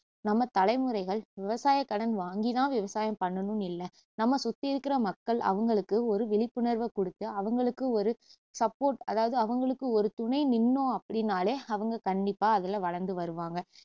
நம்ம தலைமுறைகள் விவசாயக்கடன் வாங்கி தான் விவசாயம் பண்ணணுன்னு இல்ல நம்ம சுத்தி இருக்குற மக்கள் அவங்களுக்கு ஒரு விழிப்புணர்வ கொடுத்து அவங்களுக்கு ஒரு support அதாவது அவங்களுக்கு ஒரு துணை நின்னோம் அப்படின்னாலே அவங்க கண்டிப்பா அதுல வளர்ந்து வருவாங்க